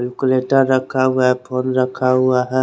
इसको लटका रखा हुआ है फ़ोन रखा हुआ है।